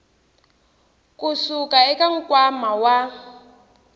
ku suka eka nkwama wa